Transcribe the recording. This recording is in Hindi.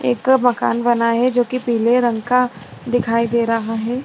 एक मकान बना है जो कि पीले रंग का दिखाई दे रहा है।